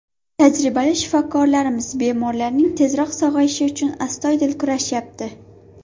Tajribali shifokorlarimiz bemorlarning tezroq sog‘ayishi uchun astoydil kurashyapti.